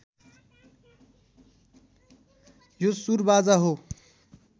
यो सुरबाजा हो